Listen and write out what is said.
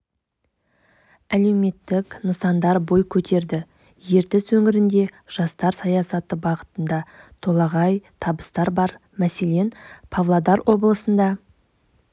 әлеуметтік нысандар бой көтерді ертіс өңірінде жастар саясаты бағытында толағай табыстар бар мәселен павлодар облысында